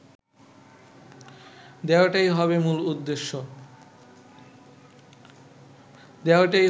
দেওয়াটাই হবে মূল উদ্দেশ্য